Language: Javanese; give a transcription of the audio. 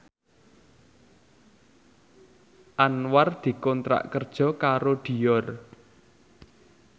Anwar dikontrak kerja karo Dior